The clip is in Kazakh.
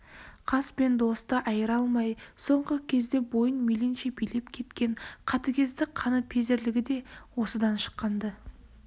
қас пен досты айыра алмай соңғы кезде бойын мейлінше билеп кеткен қатыгездік қаныпезерлігі де осыдан шыққан-ды